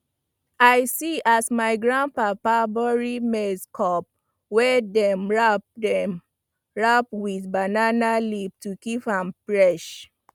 i see as my grandpapa bury maize cob wey dem wrap dem wrap with banana leaf to keep am fresh